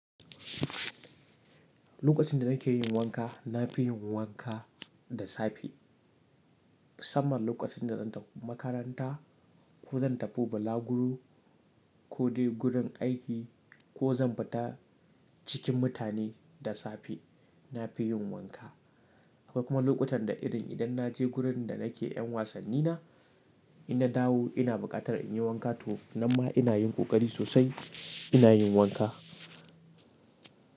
Lokacin da nake yin wanka, na fi yin wanka da safe. Musamman lokacin da zan tafi makaranta ko zan tafi balaguro ko dai gurin aiki ko zan fita cikin mutane da safe. Na fi yin wanka. Akwai kuma lokutan da irin idan na je gurin da nake yan wasanni na, inna dawo ina buƙatar in yi wanka to nan ma ina yin ƙoƙari sosai ina yin wanka.